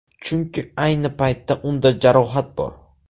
Chunki ayni paytda unda jarohat bor.